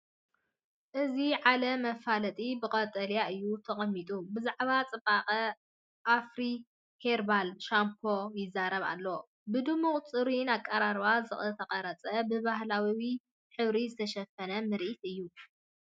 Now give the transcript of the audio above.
እዚ ዓለም መፋለጢ ብቀጠልያ እዩ ተቐሚጡ፤ ብዛዕባ ጽባቐ ኣፍሪ ሄርባል ሻምፖይዛረብ ኣሎ ፣ ብድሙቕን ጽሩይን ኣቀራርባ ዝተቐርጸ፣ ብባህላዊ ሕብሪ ዝተሸፈነ ምርኢት እዩ።